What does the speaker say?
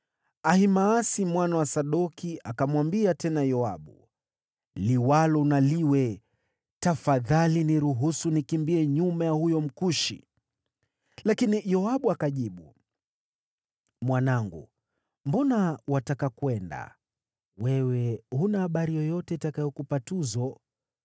Ahimaasi mwana wa Sadoki akamwambia tena Yoabu, “Liwalo na liwe, tafadhali niruhusu nikimbie nyuma ya huyo Mkushi.” Lakini Yoabu akajibu, “Mwanangu, mbona wataka kwenda? Wewe huna habari yoyote itakayokupa tuzo.”